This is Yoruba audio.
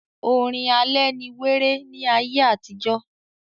orin alẹ́ ni wéré ní ayé àtijọ́.